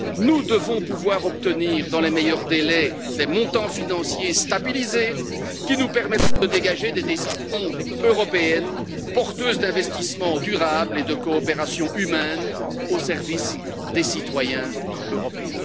Nous devons pouvoir obtenir dans les meilleurs délais des montants financiers stabilisés qui nous permettent de dégager des décisions européennes porteuses d'investissements durables et de coopération humaine au service des citoyens européens.